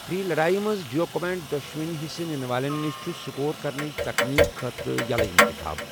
free لڑایہِ منٛز جیو کمائٹ، دۄشوٕنۍ حصہٕ نِنہٕ والٮ۪ن نِش چھُ سکور کرنٕچ تکنیک خٲطرٕ یلہٕ انتخاب